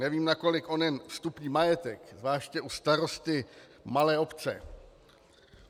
Nevím, nakolik onen vstupní majetek, zvláště u starosty malé obce -